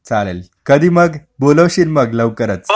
चालेल कधी मग बोलशील तर लवकरच मग